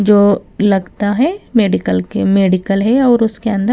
जो लगता है मेडिकल के मेडिकल है और उसके अंदर--